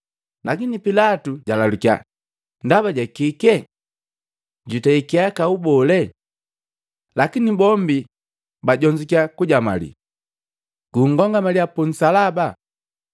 Lakini pilatu jalalukya, “Ndaba jakii! Jutei kihakau bole?” Lakini bombi bajonzukya kujamalii. “Nkomangaliya punsalaba!”